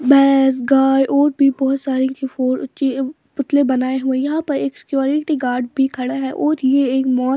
base गाय और भी बहुत सारी पुतले बनाए हुए यहां पर एक सिक्योरिटी गार्ड भी खड़ा है और ये--